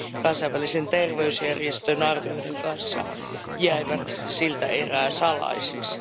kansainvälisen terveysjärjestön arvioiden kanssa, jäivät siltä erää salaisiksi.